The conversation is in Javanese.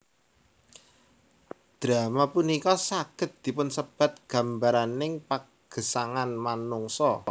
Drama punika saged dipunsebat gambaraning pagesangan manungsa